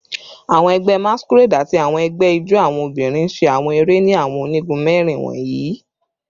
Awọn ẹgbẹ Masquerade ati awọn ẹgbẹ ijó awọn obinrin ṣe awọn ere ni awọn onigun mẹrin wọnyi